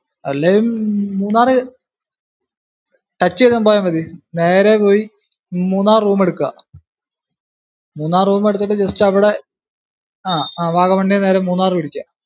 അല്ലെ മൂന്നാർ touch ചെയ്തു പോയ മതി. നേരെ പോയി മൂന്നാർ room എടുക്കുക. മൂന്നാർ room എടുത്തിട്ട് തിരിച്ചു just അവിടെ ആഹ് വാഗ്മണിന്നു നേരെ മൂന്നാർ പിടിക്കുക.